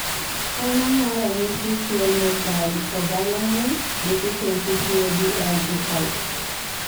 eng ang'o ranyisi tuo Methylcobalamin deficiency cbl G type?